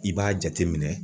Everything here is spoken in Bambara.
I b'a jateminɛ